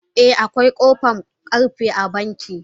Eh akwai kofan karfe a banki.